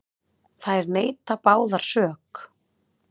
Þær neita báðar sök.